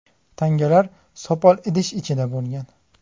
Tangalar sopol idish ichida bo‘lgan.